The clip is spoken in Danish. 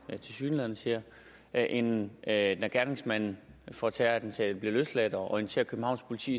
tilsyneladende siger jeg end at lade gerningsmanden for terrorattentatet blive løsladt og orientere københavns politi